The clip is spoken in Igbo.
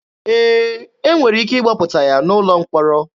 Ee, e nwere ike ịgbapụta ya n'ụlọ mkpọrọ.